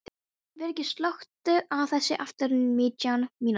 Vigri, slökktu á þessu eftir nítján mínútur.